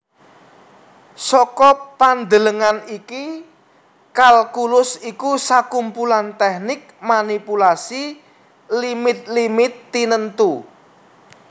Saka pandelengan iki kalkulus iku sakumpulan tèknik manipulasi limit limit tinentu